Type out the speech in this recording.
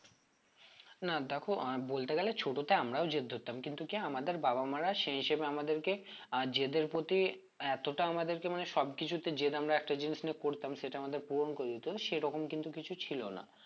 না দেখো আহ বলতে গেলে ছোট তে আমরাও জেদ ধরতাম কিন্তু কি আমাদের মা বাবারা সেই হিসেবে আমাদের কে আহ জেদ এর প্রতি এতটা আমাদের কে মানে সব কিছুতে জেদ আমরা একটা জিনিস নিয়ে করতাম সেটা আমাদের পূরণ করে দিতো সেরকম কিন্তু কিছু ছিল না